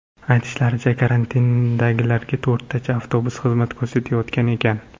Aytishlaricha, karantindagilarga to‘rttacha avtobus xizmat ko‘rsatayotgan ekan.